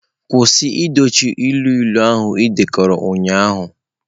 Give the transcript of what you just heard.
Kwụsị dochie ilu ilu ahụ ị dekọrọ ụnyahụ!.